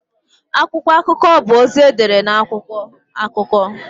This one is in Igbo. Akwụkwọ akụkọ bụ ozi edere na akwụkwọ (akụkọ).